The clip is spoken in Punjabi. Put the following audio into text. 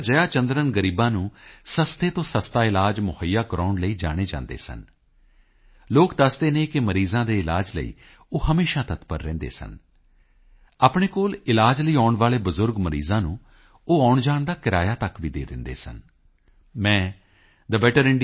ਜਯਾ ਚੰਦਰਨ ਗ਼ਰੀਬਾਂ ਨੂੰ ਸਸਤੇ ਤੋਂ ਸਸਤਾ ਇਲਾਜ ਮੁਹੱਈਆ ਕਰਵਾਉਣ ਲਈ ਜਾਣੇ ਜਾਂਦੇ ਸਨ ਲੋਕ ਦੱਸਦੇ ਹਨ ਕਿ ਮਰੀਜ਼ਾਂ ਦੇ ਇਲਾਜ ਲਈ ਉਹ ਹਮੇਸ਼ਾ ਤਤਪਰ ਰਹਿੰਦੇ ਸਨ ਆਪਣੇ ਕੋਲ ਇਲਾਜ ਲਈ ਆਉਣ ਵਾਲੇ ਬਜ਼ੁਰਗ ਮਰੀਜ਼ਾਂ ਨੂੰ ਉਹ ਆਉਣਜਾਣ ਦਾ ਕਿਰਾਇਆ ਤੱਕ ਵੀ ਦੇ ਦਿੰਦੇ ਸਨ ਮੈਂ thebetterindia